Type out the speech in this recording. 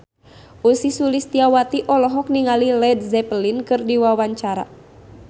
Ussy Sulistyawati olohok ningali Led Zeppelin keur diwawancara